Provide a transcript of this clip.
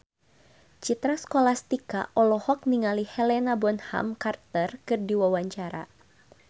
Citra Scholastika olohok ningali Helena Bonham Carter keur diwawancara